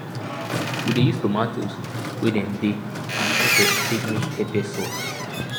we dey use tomatoes wey dem dey and pepper take make pepper sauce